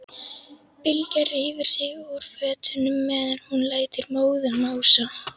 Bylgja rífur sig úr fötunum meðan hún lætur móðan mása.